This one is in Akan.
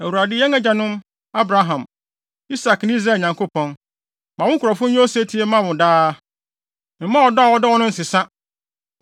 Awurade, yɛn agyanom Abraham, Isak ne Israel Nyankopɔn, ma wo nkurɔfo nyɛ osetie mma wo daa. Mma ɔdɔ a wɔde dɔ wo no nsesa.